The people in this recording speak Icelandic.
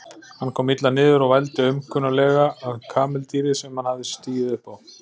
Hann kom illa niður og vældi aumkunarlega að kameldýri sem hann hafði stigið upp á.